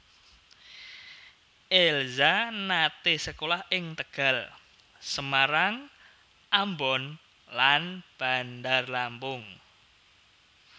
Elza nate sekolah ing Tegal Semarang Ambon lan Bandar Lampung